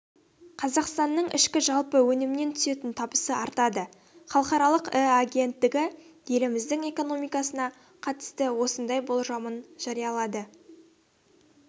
қазақстанның ішкі жалпы өнімнен түсетін табысы артады халықаралық іі агенттігі еліміздің экономикасына қатысты осындай болжамын жариялады